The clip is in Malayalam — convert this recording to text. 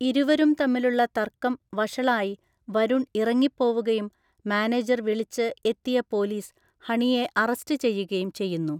ഇരുവരും തമ്മിലുള്ള തർക്കം വഷളായി വരുൺ ഇറങ്ങിപ്പോവുകയും മാനേജർ വിളിച്ച് എത്തിയ പോലീസ് ഹണിയെ അറസ്റ്റ് ചെയ്യുകയും ചെയ്യുന്നു.